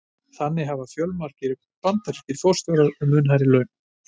Þannig hafa fjölmargir bandarískir forstjórar mun hærri laun.